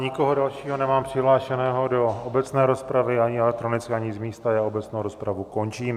Nikoho dalšího nemám přihlášeného do obecné rozpravy ani elektronicky ani z místa, já obecnou rozpravu končím.